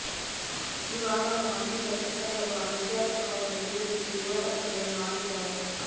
ಈ ವಾದವನ್ನು ಅನೇಕ ಚಿಂತಕರು ಹಾಗೂ ಇತಿಹಾಸಕಾರರು ವಿರೋಧಿಸಿ ವಿವಾದಕ್ಕೆಡೆ ಮಾಡಿದ್ದಾರೆ